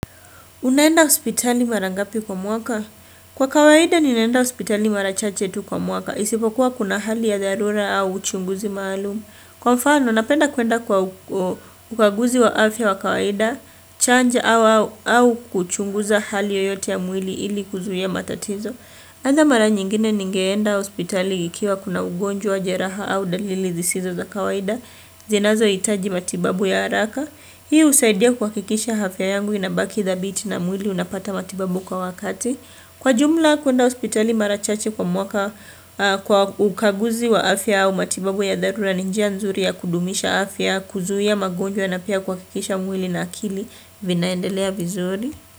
Unaenda hospitali mara ngapi kwa mwaka? Kwa kawaida, ninaenda hospitali mara chache tu kwa mwaka. Isipokuwa kuna hali ya dharura au uchunguzi maalum. Kwa mfano, napenda kuenda kwa ukaguzi wa afya wa kawaida, chanja au kuchunguza hali yoyote ya mwili ili kuzuia matatizo. Kwanza mara nyingine ningeenda hospitali nikiwa kuna ugonjwa jeraha au dalili zisizo za kawaida, zinazo hitaji matibabu ya haraka. Hii husaidia kuhakikisha afya yangu inabaki thabiti na mwili unapata matibabu kwa wakati. Kwa jumla kuenda hospitali mara chache kwa mwaka kwa ukaguzi wa afya au matibabu ya dharula ni njia nzuri ya kudumisha afya, kuzuia magonjwa na pia kuhakikisha mwili na akili vinaendelea vizuri.